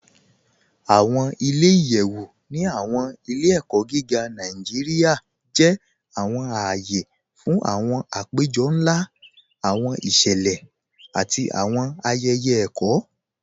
Awọn ilẹ̀-iyẹ̀wu ni awọn ilẹ̀-ẹ̀kọ gígá Nàìjíríà jẹ́ awọn ààyè fún awọn àpẹ̀jọ̀ nlá, awọn ìṣẹlẹ̀, àti awọn ayẹyẹ ẹ̀kọ.